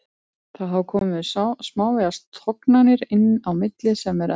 Það hafa komið smávegis tognanir inn á milli sem er eðlilegt.